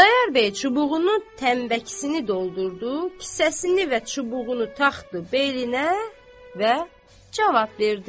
Xudayar bəy çubuğunun tənbəkisini doldurdu, kisəsini və çubuğunu taxdı belinə və cavab verdi.